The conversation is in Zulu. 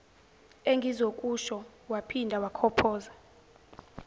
engizokusho waphinda wakhophoza